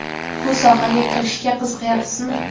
Bu sohaga kirishga qiziqayapsizmi?